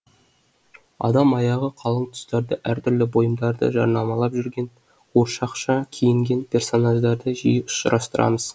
адам аяғы қалың тұстарда әртүрлі бұйымдарды жарнамалап жүрген қуыршақша киінген персонаждарды жиі ұшырастырамыз